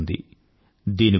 ఇంకా సమయం ఉంది